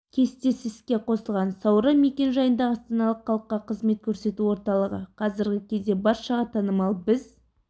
кестесі іске қосылған сауран мекен-жайындағы астаналық халыққа қызмет көрсету орталығы қазіргі кезде баршаға танымал біз